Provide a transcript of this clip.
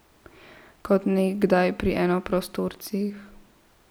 Kot nekdaj pri enoprostorcih ...